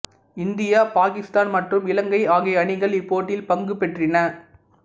India Pakistan மற்றும் இலங்கை ஆகிய அணிகள் இப்போட்டியில் பங்கு பற்றின